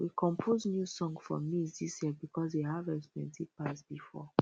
um we compose new song for maize this year because the harvest plenty pass before